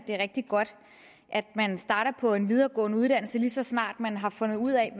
er rigtig godt at man starter på en videregående uddannelse lige så snart man har fundet ud af